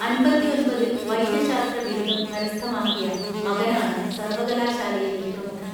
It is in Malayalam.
അൻപത്തിയൊൻപതിൽ വൈദ്യശാസ്ത്ര ബിരുദം കരസ്ഥമാക്കിയ മകനാണ് സർവകലാശാലയിലെ പ്രമുഖൻ